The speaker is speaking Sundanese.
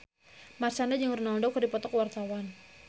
Marshanda jeung Ronaldo keur dipoto ku wartawan